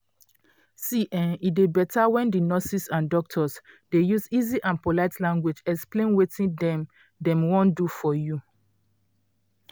see[um]e dey beta when di nurses and doctors dey use easy and polite language explain wetin dem dem wan do for you.